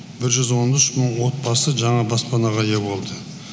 бір жүз он үш мың отбасы жаңа баспанаға ие болды